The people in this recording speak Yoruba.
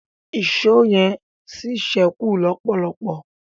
Èṣó yen sí sẹku lọpọlọpọ